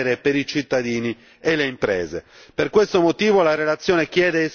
in termini di maggiori costi da sostenere per i cittadini e le imprese.